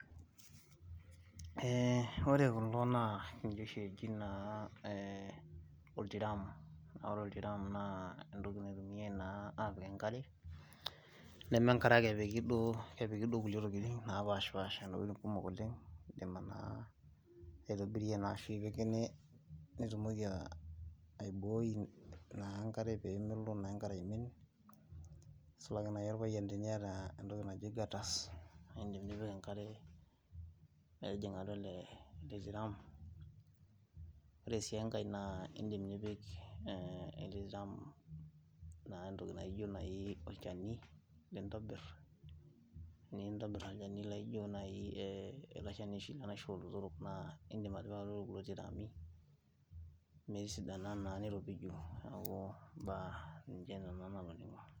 Ore kulo ninche oshi eji naa oltiraam, ore oltiraama naa entoki naitumiae naa apik enkare, neme enkare ake epiki duo, kepiki ntokitin, kumok oleng Nena naa naitobirie, naishaakino nitumoki aibooi naa enkare peemelo naa enkare aiming, nisulaki naaji orpayian tenkata entoki naji gutters nidim nipik enkare, metijinga atua ele ele tiraam, ore sii enkae naa idim nipik, oltiraam entoki naijo olchani lintobir, ele Shani laijo oshi, enaisho oolotorok anaa idim nipik iltiraami metisidana